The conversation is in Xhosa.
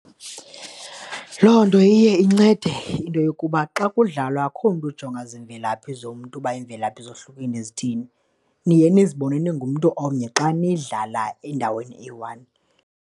Loo nto iye incede into yokuba xa kudlalwa akukho mntu ujonga ziimvelaphi zomntu uba imvelaphi zohlukene zithini, niye nizibone ningumntu omnye xa nidlala endaweni eyi-one.